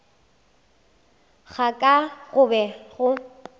ga ka go be go